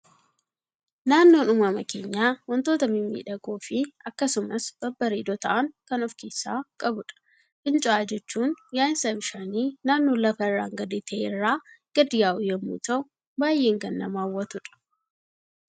Naannoon uumama keenyaa, waantota mimmiidhagoo fi akkasumas babbareedoo ta'an kan of keessaa qabudha. Fincaa'aa jechuun yaa'insa bishaanii naannoo lafa irraan gadee ta'e irraa gad yaa'u yemmuu ta'u baayyee kan nama hawwatudha.